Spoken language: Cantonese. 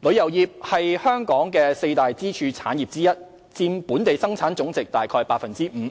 旅遊業是香港四大支柱產業之一，佔本地生產總值約 5%，